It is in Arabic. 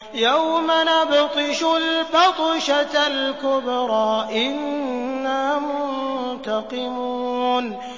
يَوْمَ نَبْطِشُ الْبَطْشَةَ الْكُبْرَىٰ إِنَّا مُنتَقِمُونَ